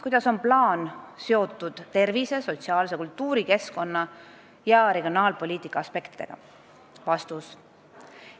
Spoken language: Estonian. Kuidas on plaan seotud tervise-, sotsiaal-, kultuuri-, keskkonna- ja regionaalpoliitika aspektidega?